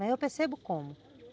Mas eu percebo como.